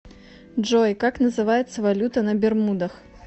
джой как называется валюта на бермудах